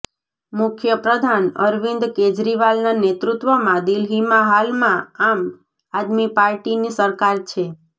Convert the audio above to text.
મુખ્યપ્રધાન અરવિન્દ કેજરીવાલના નેતૃત્વમાં દિલ્હીમાં હાલમાં આમ આદમી પાર્ટીની સરકાર છે